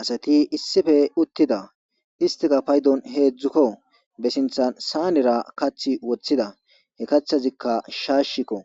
asati issife uttida istika paydon heedzdzukko be sinthan saanera kath woththida he kathazikka shaashikko